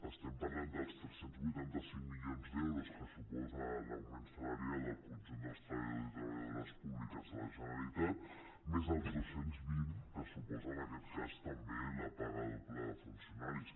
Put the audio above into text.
estem parlant dels tres cents i vuitanta cinc milions d’euros que suposa l’augment salarial del conjunt dels treballadors i treballadores públiques de la generalitat més els dos cents i vint que suposa en aquest cas també la paga doble de funcionaris